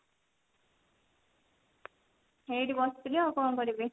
ଏଇଠି ବସିଥିଲି ଆଉ କଣ କରିବି